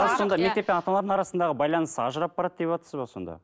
қазір сонда мектеп пен ата аналар арасындағы байланыс ажырап барады деватсыз ба сонда